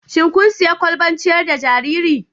Shin kun sayi kwalban ciyar da jariri?